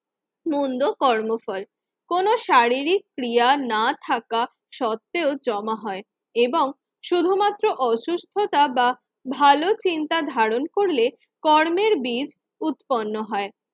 মন্দ কর্মফল কোন শারীরিক ক্রিয়া না থাকা সত্ত্বেও জমা হয় এবং শুধুমাত্র অসুস্থতা বা ভালো চিন্তা ধারণ করলে কর্মের বীজ উৎপন্ন হয়।